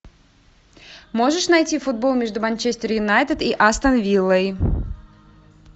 можешь найти футбол между манчестер юнайтед и астон виллой